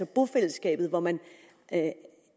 bofællesskab hvor man